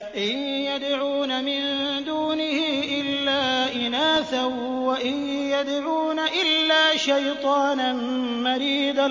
إِن يَدْعُونَ مِن دُونِهِ إِلَّا إِنَاثًا وَإِن يَدْعُونَ إِلَّا شَيْطَانًا مَّرِيدًا